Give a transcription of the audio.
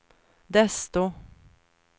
desto